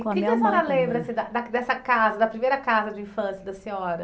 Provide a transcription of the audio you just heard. Que que a senhora lembra assim da da dessa casa, da primeira casa de infância da senhora?